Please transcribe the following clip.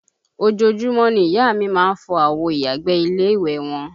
Ojoojúmọ́ ni ìyá a mi má ń fọ àwo ìyàgbẹ́ ilé ìwẹ̀ wọn